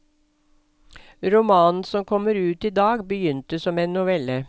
Romanen som kommer ut idag begynte som en novelle.